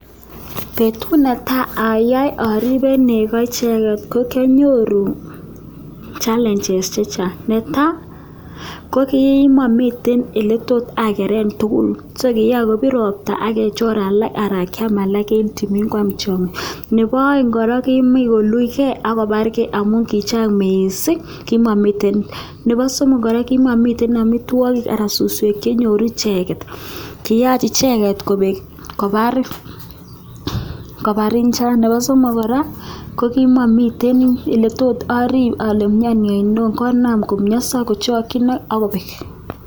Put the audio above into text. Betut ne tai ayae aribe nego icheket ko kianyoru challenges chechang'. Ne tai , ko kimamiten ole tot ageren tugul, so kiyaa kobir ropta agechor alak anan kiam alak en timin kwam tiongik. Nebo aeng' kora kimuch koulujkey agobarke amun kichang' missing, kimamiten. Nebo somok kora, kimamiten amitwogik anan suswek chenyoru icheket. Kiyach icheket kobek, kobar kobar njaa. Nebo somok kora, ko kimamiten ole tot arip ale miani en ano konam kochakchin agobek